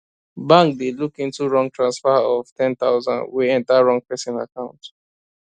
bank dey look into wrong transfer of ten thousand wey enter wrong person account